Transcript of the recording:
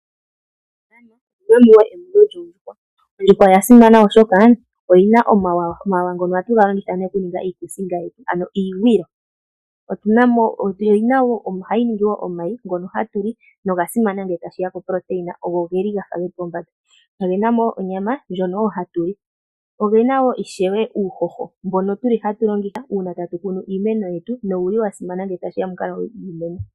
Ondjuhwa oya simana oshoka oyina omawawa ngono haga longithwa okuninga iikusinga nenge iigwilo. Ondjuhwa ohayi vala wo omayi ngono haga liwa noga simana oshoka ogena oproteina yili pombanda. Onyama yondjuhwa ohayi liwa, dho ohadhi ningi wo uuhoho mbono hawu longithwa okukuna iimeno nowuli wasimana.